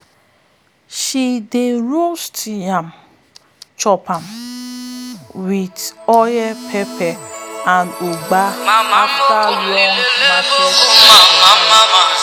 she dey roast yam chop am with oil pepper and ugba after long market wahala.